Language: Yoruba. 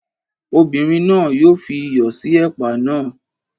Obinrin náà yóò fi iyọ̀ sí ẹ̀pà náà.